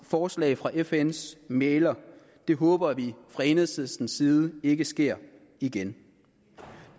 forslag fra fns mægler det håber vi fra enhedslistens side ikke sker igen